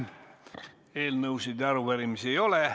Eelnõusid ja arupärimisi ei ole.